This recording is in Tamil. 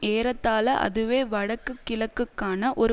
ஏறத்தாள அதுவே வடக்குக் கிழக்குக்கான ஒரு